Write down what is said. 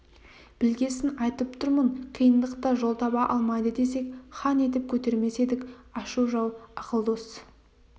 білгесін айтып тұрмын қиындықта жол таба алмайды десек хан етіп көтермес едік ашу жау ақыл дос